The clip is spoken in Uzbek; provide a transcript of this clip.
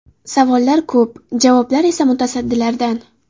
Savollar ko‘p, javoblar esa mutasaddilardan.